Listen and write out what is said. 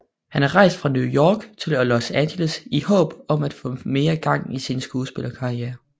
Han er rejst fra New York til Los Angeles i håb om at få mere gang i sin skuespillerkarriere